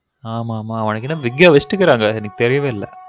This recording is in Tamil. ஆமா ஆமா அவனுக்கு wig ஏ வைச்சிடுருகாங்க எனக்கு தெரியவே இல்ல